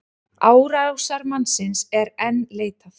Árásarmannsins er enn leitað